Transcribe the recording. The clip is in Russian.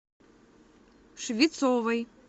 швецовой